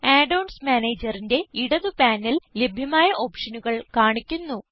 add ons Managerന്റെ ഇടത് panel ലഭ്യമായ ഓപ്ഷനുകൾ കാണിക്കുന്നു